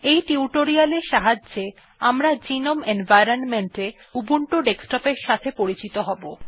এই টিউটোরিয়াল এর সাহায্যে আমরা গ্নোম এনভয়রনমেন্ট এ উবুন্টু ডেস্কটপ এর সাথে পরিচিত হব